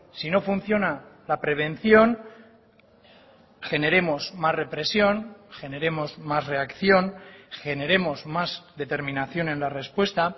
si no funciona la prevención generemos más represión generemos más reacción generemos más determinación en la respuesta